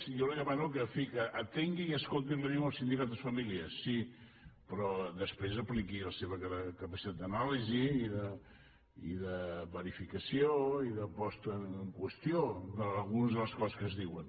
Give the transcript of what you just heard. jo li demano que en fi atengui i escolti el que diuen els sindicats i les famílies sí però després apliqui la seva capacitat d’anàlisi i de verifica·ció i de posta en qüestió d’algunes de les coses que es diuen